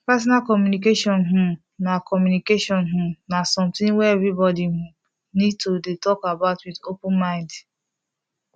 partner communication um na communication um na something wey everybody um need to dey talk about with open mind